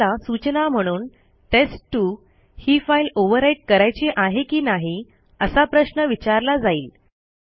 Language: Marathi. आपल्याला सूचना म्हणून टेस्ट2 ही फाईल ओव्हरराईट करायची आहे की नाही असा प्रश्न विचारला जाईल